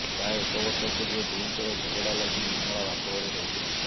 ପ୍ରାୟ ଏକ ବର୍ଷ ପୂର୍ବେ ଦୁହଁଙ୍କର ଝଗଡା ଲାଗି ନିର୍ମଳା ବାପଘରେ ରହୁଥିଲେ